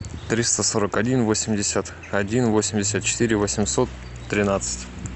триста сорок один восемьдесят один восемьдесят четыре восемьсот тринадцать